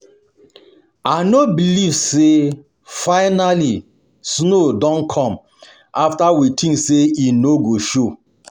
I no believe say say finally snow don come after we think say e no go show